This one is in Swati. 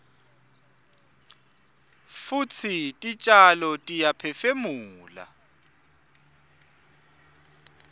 futsi titjalo tiyaphefumula